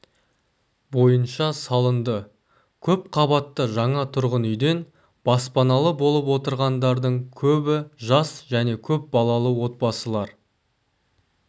бойынша салынды көпқабатты жаңа тұрғын үйден баспаналы болып отырғандардың көбі жас және көп балалы отбасылар